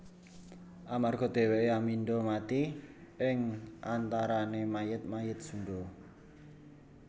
Amarga dhèwèké amindha mati ing antarané mayit mayit Sundha